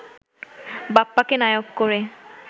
বাপ্পাকে নায়ক করে